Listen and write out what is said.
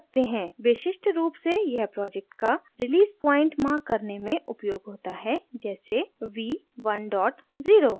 विशिष्ट रूप से यह project का release point mark करने में उपयोग होता है जैसे v10